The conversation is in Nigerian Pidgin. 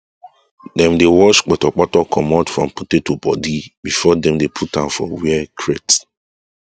dem dey wash potopoto comot from potato body before dem dey put am for where crate